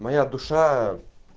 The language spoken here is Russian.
моя душа